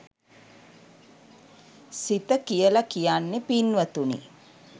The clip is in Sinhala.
සිත කියල කියන්නෙ පින්වතුනි